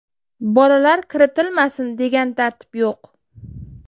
Bolalar kiritilmasin, degan tartib yo‘q.